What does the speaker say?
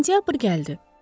Sentyabr gəldi.